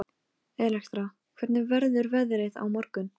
Hana bæði langar og langar ekki til að geðjast mömmu.